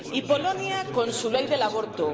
Polonia, con su ley del aborto